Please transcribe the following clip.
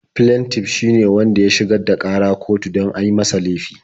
Flentif shi ne wanda ya shigar da ƙara kotu don an yi masa laifi.